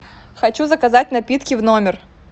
хочу заказать напитки в номер